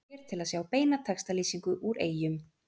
Smelltu hér til að sjá beina textalýsingu úr Eyjum